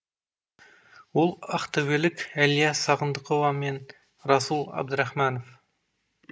ол ақтөбелік әлия сағындықова мен руслан әбдірахманов